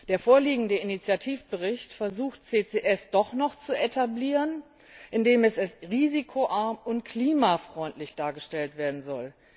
Der vorliegende Initiativbericht versucht, CCS doch noch zu etablieren, indem es als risikoarm und klimafreundlich dargestellt werden soll.